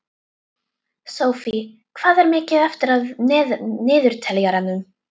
Sophie, hvað er mikið eftir af niðurteljaranum?